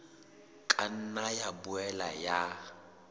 ka nna ya boela ya